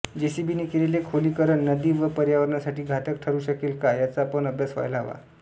जेसीबीने केलेले खोलीकरण नदी व पर्यावरणासाठी घातक ठरू शकेल का याचा पण अभ्यास व्हायला हवा